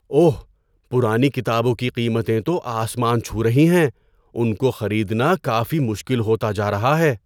اوہ! پرانی کتابوں کی قیمتیں تو آسمان چھو رہی ہیں۔ ان کو خریدنا کافی مشکل ہوتا جا رہا ہے۔